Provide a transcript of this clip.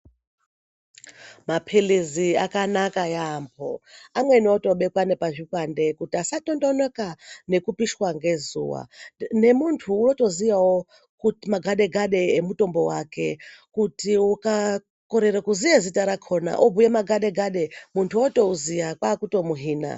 Mapilizi akanaka yambo amweni otobekwa nepazvikwande kuti asatongonoka nekupishwa ngezuwa nemuntu wotoziyawo magadegade emutombo wake kuti ukakorere kuziye zita rakona obhuye magadegade muntu otouziya kwakutomuhina.